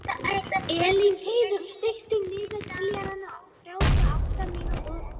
Elínheiður, stilltu niðurteljara á þrjátíu og átta mínútur.